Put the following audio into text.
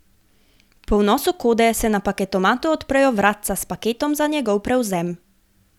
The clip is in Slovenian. Po vnosu kode se na paketomatu odprejo vratca s paketom za njegov prevzem.